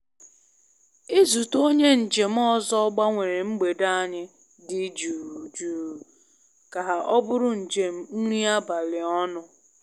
Izute onye njem ọzọ gbanwere mgbede anyị dị jụụ jụụ ka ọ bụrụ njem nri abalị ọnụ.